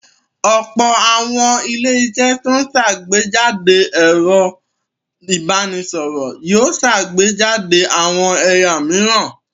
Ọ̀pọ̀ àwọn ilé-iṣẹ́ tó ń ṣàgbéjáde ẹ̀rọ ìbanisọ̀rọ̀ yóò ṣàgbéjáde àwọn ẹ̀ya òmíràn.